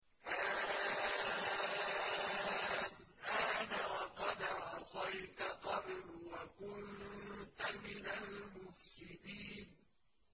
آلْآنَ وَقَدْ عَصَيْتَ قَبْلُ وَكُنتَ مِنَ الْمُفْسِدِينَ